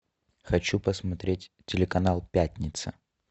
хочу посмотреть телеканал пятница